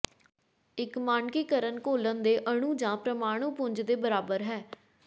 ਇੱਕ ਮਾਨਕੀਕਰਣ ਘੋਲਨ ਦੇ ਅਣੂ ਜਾਂ ਪ੍ਰਮਾਣੂ ਪੁੰਜ ਦੇ ਬਰਾਬਰ ਹੈ